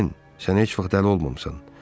Pen, sən heç vaxt dəli olmamısan.